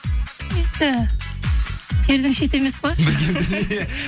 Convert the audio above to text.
енді жердің шеті емес қой